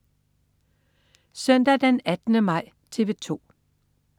Søndag den 18. maj - TV 2: